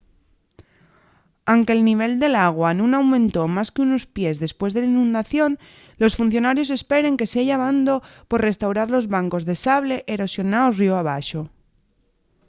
anque’l nivel del agua nun aumentó más qu’unos pies depués de la inundación los funcionarios esperen que seya abondo pa restaurar los bancos de sable erosionaos ríu abaxo